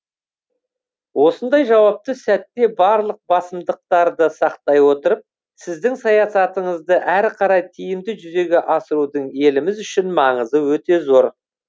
осындай жауапты сәтте барлық басымдықтарды сақтай отырып сіздің саясатыңызды әрі қарай тиімді жүзеге асырудың еліміз үшін маңызы өте зор